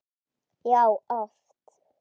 Já, oft!